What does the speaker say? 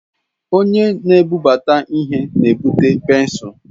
Onye na-ebubata ihe na-ebute pensụl.